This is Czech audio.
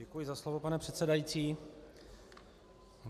Děkuji za slovo, pane předsedající.